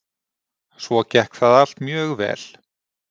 Svo gekk það allt mjög vel.